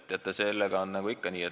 Teate, sellega oli nagu ikka.